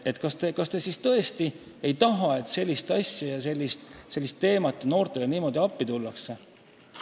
Kas te siis tõesti ei taha sellist asja, et noortele niimoodi appi tullakse?